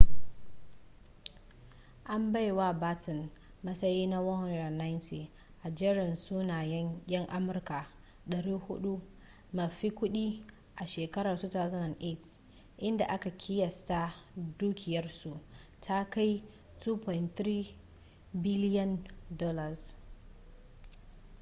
an bai wa batten matsayi na 190 a jerin sunayen yan amurka 400 mafi kudi a shekarar 2008 inda aka kiyasta dukiyarsa ta kai biliyan $2.3